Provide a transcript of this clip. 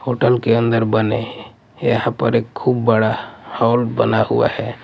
Hotel के अंदर बने है यहां पर खूब बड़ा हाल बना हुआ है।